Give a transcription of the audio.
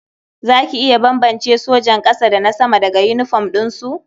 Za ki iya bambance sojan ƙasa da na sama daga yinifom ɗinsu?